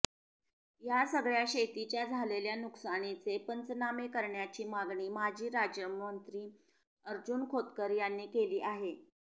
या सगळ्या शेतीच्या झालेल्या नुकसानीचे पंचनामे करण्याची मागणी माजी राज्यमंत्री अर्जुन खोतकर यांनी केली आहे